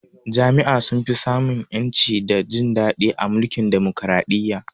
Jama'a sun fi sa mun ƴanci da jin daɗi a mulkin Demokaraɗiyya